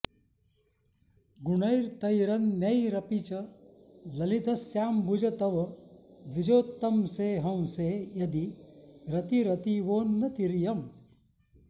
गुणैरतैरन्यैरपि च ललितस्याम्बुज तव द्विजोत्तंसे हंसे यदि रतिरतीवोन्नतिरियम्